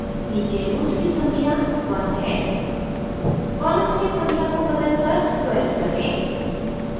नीचे rows की संख्या 1 है columns की संख्या को बदलकर 12 करें